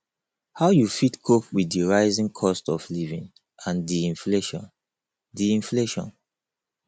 how you fit cope with di rising cost of living and di inflation di inflation